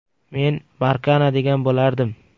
- Men Markana degan bo‘lardim.